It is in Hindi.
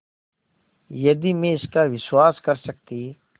यदि मैं इसका विश्वास कर सकती